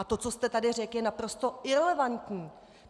A to, co jste tady řekl, je naprosto irelevantní!